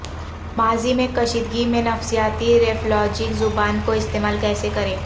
ماضی میں کشیدگی میں نفسیاتی ریفلاجک زبانوں کا استعمال کیسے کریں